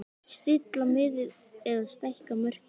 Stilla miðið eða stækka mörkin?